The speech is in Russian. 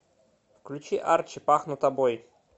включи арчи пахну тобой